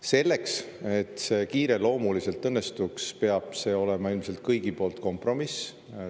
Selleks, et see kiireloomuliselt õnnestuks, peab see olema ilmselt kõigi poolt kompromiss.